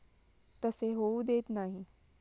तसे होऊ देत नाही.